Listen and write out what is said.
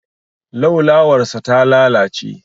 Laulawarsa ta lalace.